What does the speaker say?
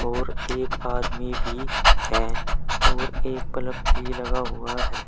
और एक आदमी भी हैं और एक पलक भी लगा हुआ है।